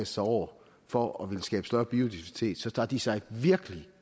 sig over for at ville skabe større biodiversitet så tager de sig virkelig